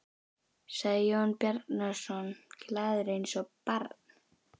sagði Jón Bjarnason, glaður eins og barn.